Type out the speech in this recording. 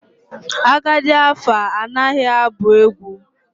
Agadi afa anaghi abu egwu.